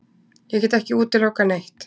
Ég get ekki útilokað neitt.